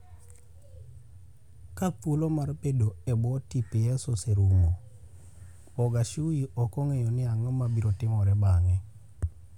Ka thuolo mar bedo e bwo TPS oserumo, Bogaciu ok ong'eyo ni ang'o mabiro timore bang'e.